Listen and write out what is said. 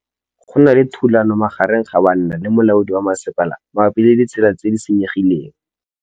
Go na le thulanô magareng ga banna le molaodi wa masepala mabapi le ditsela tse di senyegileng.